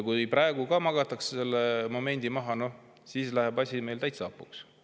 Kui praegu magatakse see moment maha, siis läheb asi meil täitsa hapuks.